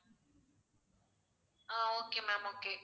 ah okay ma'am okay